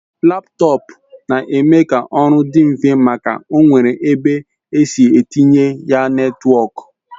Laptọọpụ na-eme ka oru di nfe maka o nwere ebe esi etinye ya netwọk